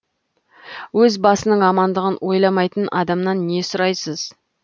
өз басының амандығын ойламайтын адамнан не сұрайсыз